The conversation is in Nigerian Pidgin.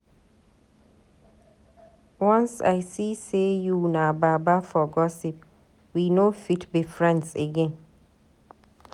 Once I see sey you na baba for gossip, we no fit be friends again.